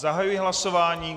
Zahajuji hlasování.